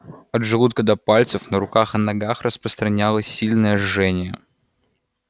от желудка до пальцев на руках и ногах распространялось сильное жжение